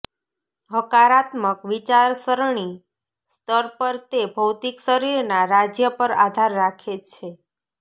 હકારાત્મક વિચારસરણી સ્તર પર તે ભૌતિક શરીરના રાજ્ય પર આધાર રાખે છે